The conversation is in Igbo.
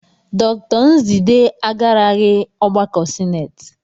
Dr Nzidee agaraghị ọgbakọ sinetị.